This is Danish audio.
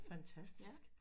Fantastisk